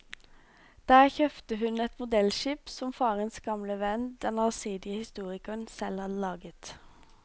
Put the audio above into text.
Der kjøpte hun et modellskip som farens gamle venn, den allsidige historikeren, selv hadde laget.